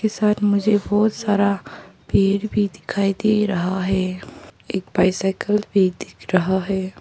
Side मुझे बहोत सारा पेड़ भी दिखाई दे रहा है। एक बाइसाइकल भी दिख रहा है।